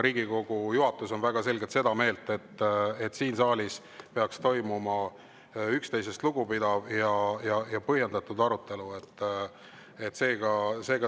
Riigikogu juhatus on väga selgelt seda meelt, et siin saalis peaks toimuma üksteisest lugupidav ja põhjendatud arutelu.